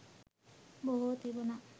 බොහෝ තිබුණා.